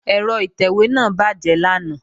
Ẹ̀rọ ìtẹ̀wé náà bàjẹ́ lánàá